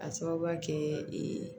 A sababuya kɛ